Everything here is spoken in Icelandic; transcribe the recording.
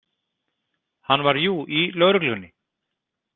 Hann var jú í lögreglunni.